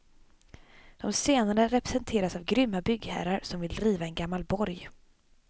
De senare representeras av grymma byggherrar som vill riva en gammal borg.